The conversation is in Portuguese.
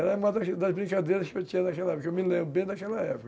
Era uma das das brincadeiras que eu tinha naquela época, que eu me lembro bem daquela época.